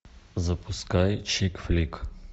запускай чик флик